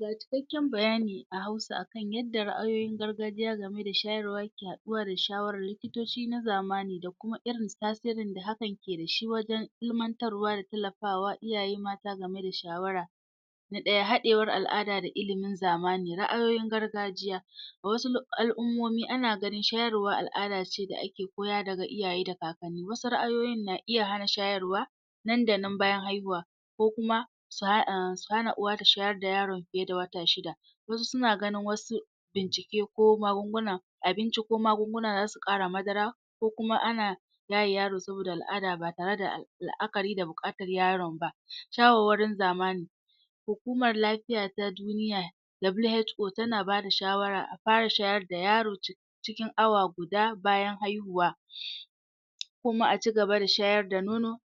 Ga cikakken bayani a Hausa a kan yadda ra'ayoyin gargajiya game da shayarwa yake haɗuwa da shawarar likitoci na zamani da kuma irin tasirin da hakan ke da shi wajen ilimantar da tallafa wa iyaye game da shawara Na ɗaya, haɗewar al'ada da ilimin zamani. Ra'ayoyin gargajiya: A wasu al'ummomi ana ganin shayarwa al'ada ce da ake koya daga iyaye da kakanni Wasu nra'ayoyin na iya hana shayarwa nan da nan bayan haihuwa ko kuma su um hana uwa ta shayar ta yaron fiye da wata shida. Wasu suna ganin wasu jajjage ko magunguna, abinci ko magunguna za su ƙara madara ko kuma ana yaye yaro saboda al'ada ba tare da la'akari da buƙatar yaron ba Shawarwarin zamani: Hukumar Lafiya ta Duniya (WHO) tana bada shawara a fara shayar da yaro cikin awa guda bayan haihuwa ko kuma a cigaba da shayar da nono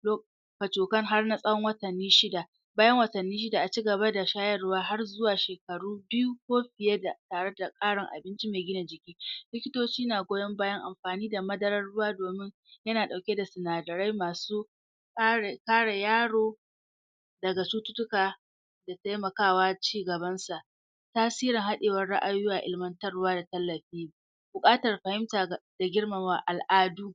kacokan har na tsawon watanni shida. Bayan watanni shida a ci gaba da shayarwa har zuwa shekaru biyu ko fiye da tare da abinci mai gina jiki. Likotoci na goyon bayan amfani da madarar ruwa domin yana ɗauke da sinadarai masu ƙara kare yaro daga cututtuka taimaka wa cigabansa. Tasirin haɗewar ra'ayoyi a ilimantarwa da tallafi, buƙatar fahimta da girmama al'adu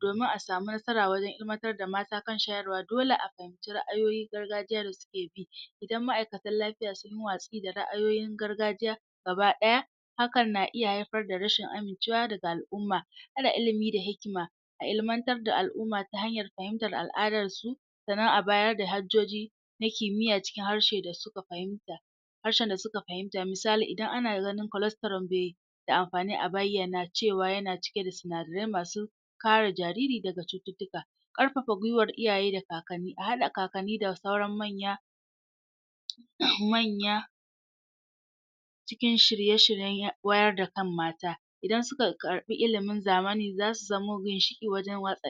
domin a samu nasara wajen ilimantar da mata wajen shayarwa dole a fahimci ra'ayoyin gargajiya da suke bi. Idan ma'aikatan lafiya sun yi watsi da ra'ayoyin gargajiya gaba ɗaya hakan na iya haifar da rashin amincewa daga al'umma. Ƙara ilimi da hikima: A ilimantar da al'umma ta hanyar fahimtar al'adarsu sannan a bayar da hajjoji na kimiyya cikin harshe da suka fahimta, harshen da suka fahimta. Misali idan ana ganin colestoral bai da amfani a bayyana cewa yana cike da sinadarai masu kare jariri dafa cututtuka. Ƙarfafa gwiwar iyaye da kakanni: A haɗa kakanni da sauran manya, manya cikin shirye-shiryen wayar da kan mata. Idan suka karɓi ilimin zamani za su zamo ginshiƙi wajen yaɗa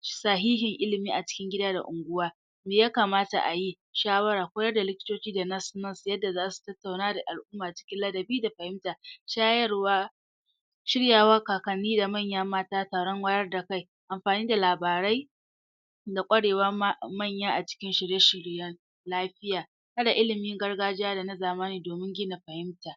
shi Sahihin ilimi a cikin gida da unguwa: Me ya kamata a yi? Shawara: Koyar da likitoci da nas-nas yadda za su tattauna da al'umma cikin ladabi da fahimta. Shayarwa shirya wa kakanni da manyan mata taron wayar da kai. Amfani da labarai: da ƙwarewar manya a cikin shirye-shiryen lafiya. Haɗa ilimin gargajiya da na zamani domin gina fahimta.